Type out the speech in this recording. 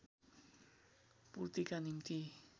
पूर्तिका निम्ति